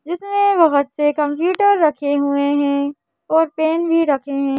जिसमें बहुत से कंप्यूटर रखे हुए हैं और पेन भी रखे हैं।